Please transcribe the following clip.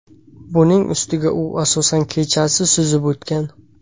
Buning ustiga u asosan kechasi suzib o‘tgan.